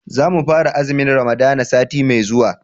za mu fara azumin ramadana sati mai zuwa